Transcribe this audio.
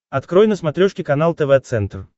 открой на смотрешке канал тв центр